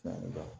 Naamu